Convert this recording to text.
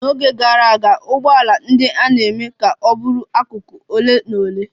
N'oge gara aga, ụgbọala ndị a na-eme ka ọ bụrụ akụkụ ole na ole.